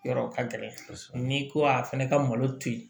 Yɔrɔ ka gɛlɛ ni ko a fana ka malo to yen